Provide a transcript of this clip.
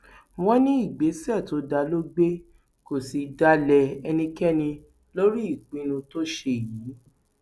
wọn ní ìgbésẹ tó dáa ló gbé kó sì dalẹ ẹnikẹni lórí ìpinnu tó ṣe yìí